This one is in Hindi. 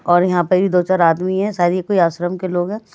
और यहाँ पर भी दो-चार आदमी हैं शायद ये कोई आश्रम के लोग हैं --